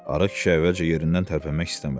Arıq kişi əvvəlcə yerindən tərpənmək istəmədi.